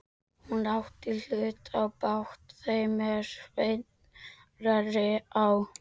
Hún átti hlut í bát þeim er Sveinn reri á.